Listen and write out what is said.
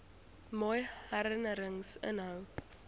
mooi herinnerings inhou